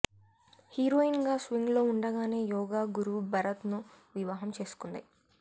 heroine గా swing లో ఉండగానే యోగా గురు భరత్ ను వివాహం చేసుకుంది